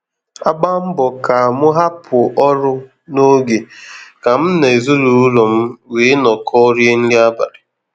Agba mbọ ka mụ hapụ ọrụ ́n'oge ka m na ezinaụlọ m were nọkọ rie nri abalị